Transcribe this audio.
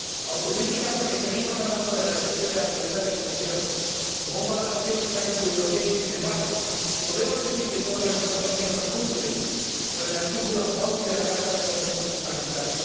Autocrítica porque seguimos hablando de la defensa de la libertad de expresión como un valor auténticamente europeo y, sin embargo, ¿podemos decir que todos los Estados miembros cumplen con el artículo 11 de la Carta de los Derechos Fundamentales?